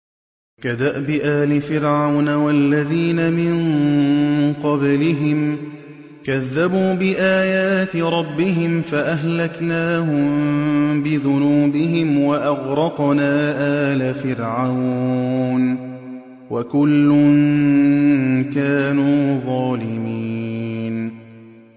كَدَأْبِ آلِ فِرْعَوْنَ ۙ وَالَّذِينَ مِن قَبْلِهِمْ ۚ كَذَّبُوا بِآيَاتِ رَبِّهِمْ فَأَهْلَكْنَاهُم بِذُنُوبِهِمْ وَأَغْرَقْنَا آلَ فِرْعَوْنَ ۚ وَكُلٌّ كَانُوا ظَالِمِينَ